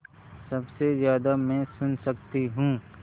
सबसे ज़्यादा मैं सुन सकती हूँ